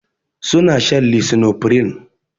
Su na shan lisinopril